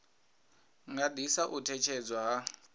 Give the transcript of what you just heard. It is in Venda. nga ḓisa u ṅetshedzwa ha